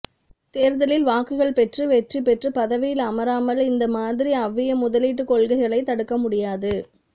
தேர்தலில் வாக்குகள் பெற்று வெற்றி பெற்று பதவியில் அமராமல் இந்த மாதிரி அவ்விய முதலீட்டு கொளகைகளை தடுக்க முடியாது